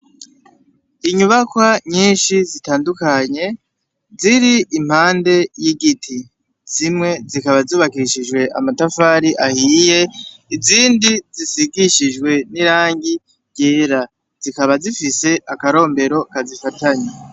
Inyubakwa nyinshi zitandukanye ziri impande yigiti, zimwe zikaba zubakishije amatafari ahiye izindi zisigishijwe n'irangi ryera zikaba zifise akarombero kazifatanya.